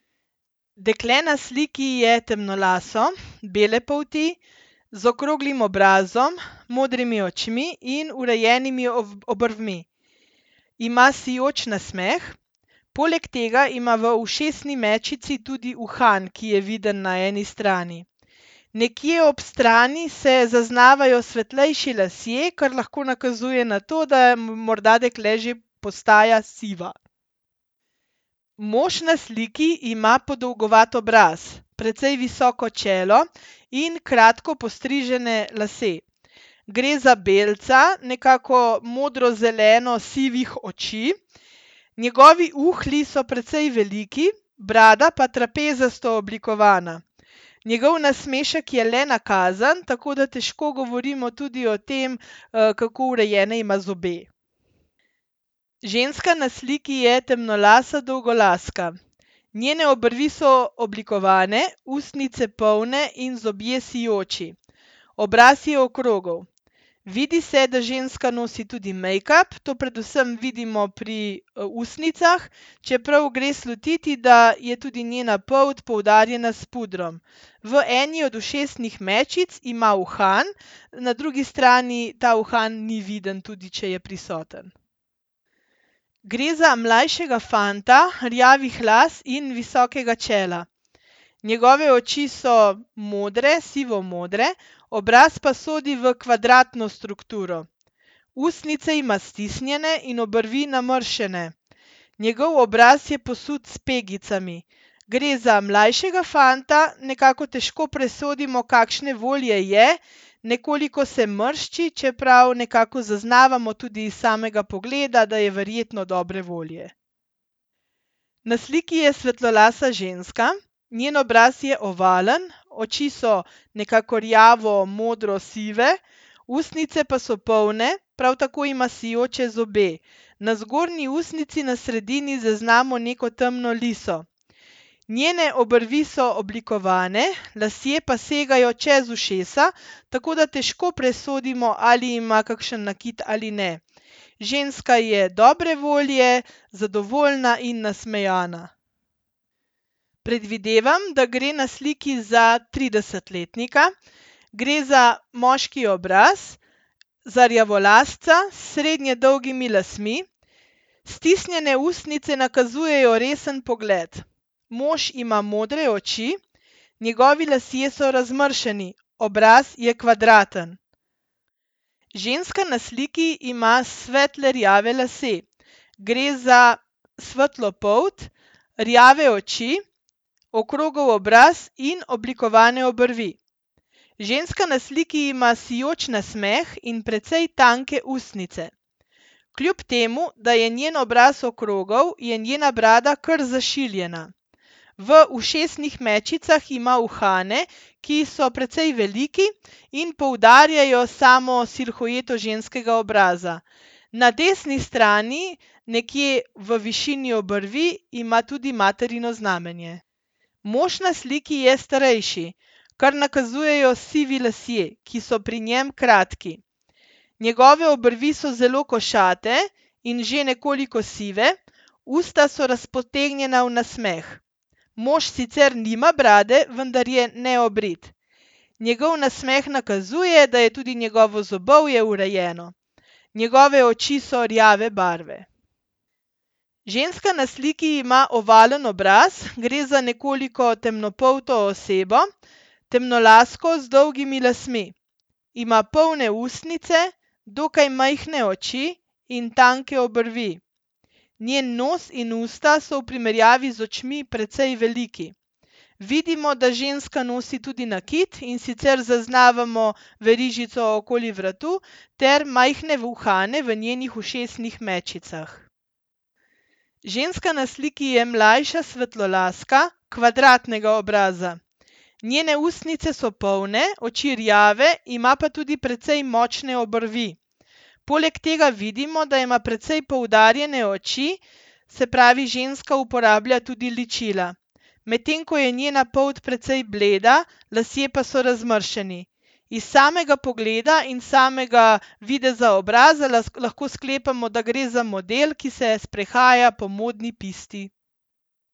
Dekle na sliki je temnolaso, bele polti z okroglim obrazom, modrimi očmi in urejenimi obrvmi. Ima sijoč nasmeh, poleg tega ima v ušesni mečici tudi uhan, ki je vidim na eni strani. Nekje ob strani se zaznavajo svetlejši lasje, kar lahko nakazuje na to, da je morda dekle že postaja siva. Mož na sliki ima podolgovat obraz, precej visoko čelo in kratko postrižene lase. Gre za belca nekako modro-zeleno-sivih oči, njegovi uhlji so precej veliki, brada pa trapezasto oblikovana. Njegov nasmešek je le nakazan, tako da težko govorimo tudi o tem, kako urejene ima zobe. Ženska na sliki je temnolasa dolgolaska. Njene obrvi so oblikovane, ustnice polne in zobje sijoči. Obraz je okrogel. Vidi se, da ženska nosi tudi mejkap, to predvsem vidimo pri, ustnicah, čeprav gre slutiti, da je tudi njena polt poudarjena s pudrom. V eni od ušesnih mečic ima uhan, na drugi strani ta uhan ni viden, tudi če je prisoten. Gre za mlajšega fanta rjavih las in visokega čela. Njegove oči so modre, sivomodre, obraz pa sodi v kvadratno strukturo. Ustnice ima stisnjene in obrvi namrščene. Njegov obraz je posut s pegicami. Gre za mlajšega fanta, nekako težko presodimo, kakšne volje je. Nekoliko se mršči, čeprav nekako zaznavamo tudi iz samega pogleda, da je verjetno dobre volje. Na sliki je svetlolasa ženska, njen obraz je ovalen, oči so nekako rjavo-modro-sive, ustnice pa so polne, prav tako ima sijoče zobe. Na zgornji ustnici na sredini zaznamo neko temno liso. Njene obrvi so oblikovane, lasje pa segajo čez ušesa, tako da težko presodimo, ali ima kakšen nakit ali ne. Ženska je dobre volje, zadovoljna in nasmejana. Predvidevam, da gre na sliki za tridesetletnika. Gre za moški obraz, za rjavolasca s srednje dolgimi lasmi, stisnjene ustnice nakazujejo resen pogled. Mož ima modre oči, njegovi lasje so razmršeni. Obraz je kvadraten. Ženska na sliki ima svetle rjave lase. Gre za svetlo polt, rjave oči, okrogel obraz in oblikovane obrvi. Ženska na sliki ima sijoč nasmeh in precej tanke ustnice. Kljub temu da je njen obraz okrogel, je njena brada kar zašiljena. V ušesnih mečicah ima uhane, ki so precej veliki in poudarjajo samo silhueto ženskega obraza. Na desni strani, nekje v višini obrvi, ima tudi materino znamenje. Mož na sliki je starejši, kar nakazujejo sivi lasje, ki so pri njem kratki. Njegove obrvi so zelo košate in že nekoliko sive, usta so razpotegnjena v nasmeh. Mož sicer nima brade, vendar je neobrit. Njegov nasmeh nakazuje, da je tudi njegovo zobovje urejeno. Njegove oči so rjave barve. Ženska na sliki ima ovalen obraz. Gre za nekoliko temnopolto osebo, temnolasko z dolgimi lasmi. Ima polne ustnice, dokaj majhne oči in tanke obrvi. Njen nos in usta so v primerjavi z očmi precej veliki. Vidimo, da ženska nosi tudi nakit, in sicer zaznavamo verižico okoli vratu ter majhne uhane v njenih ušesnih mečicah. Ženska na sliki je mlajša svetlolaska kvadratnega obraza. Njene ustnice so polne, oči rjave, ima pa tudi precej močne obrvi. Poleg tega vidimo, da ima precej poudarjene oči, se pravi, ženska uporablja tudi ličila. Medtem ko je njena polt precej bleda, lasje pa so razmršeni. Iz samega pogleda in samega videza obraza lahko sklepamo, da gre za model, ki se sprehaja po modni pisti.